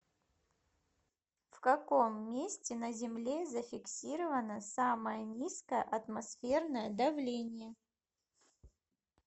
в каком месте на земле зафиксировано самое низкое атмосферное давление